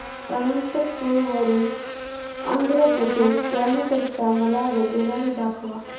अनंतपुर वरून आंध्र प्रदेश जाण्या करीता मला रेल्वेगाडी दाखवा